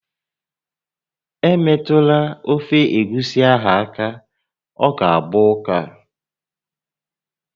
Emetụla ofe egusi ahụ aka, ọ ga-agba ụká!